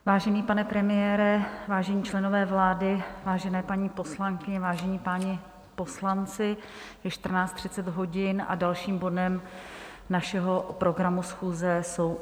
Vážený pane premiére, vážení členové vlády, vážené paní poslankyně, vážení páni poslanci, je 14.30 hodin a dalším bodem našeho programu schůze jsou